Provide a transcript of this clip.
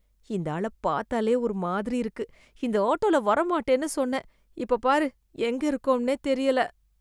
இந்த ஆள பாத்தாலே ஒரு மாதிரி இருக்கு, இந்த ஆட்டோல வர மாட்டேன்னு சொன்னேன், இப்ப பாரு எங்க இருக்கோம்னே தெரியல.